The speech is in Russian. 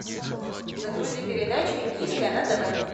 загрузи передачу индийское на тв